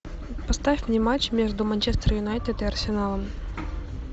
поставь мне матч между манчестер юнайтед и арсеналом